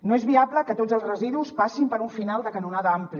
no és viable que tots els residus passin per un final de canonada ampli